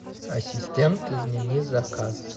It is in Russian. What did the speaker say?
ассистент измени заказ